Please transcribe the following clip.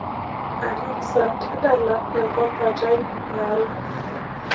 alexa tadala enkopat aii iare